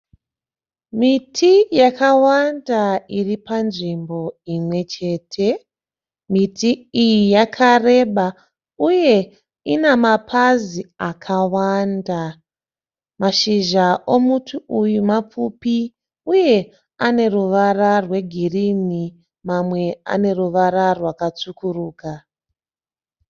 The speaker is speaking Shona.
Miti yakawanda iri panzvimbo imwe chete. Miti iyi yakareba uye inemapazi akawanda. Mashizha emuti uyu mapfupi uye ane ruvara rwegirini mamwe aneruvara rwakatsvukuruka